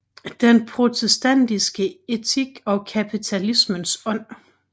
Den protestantiske Etik og Kapitalismens Ånd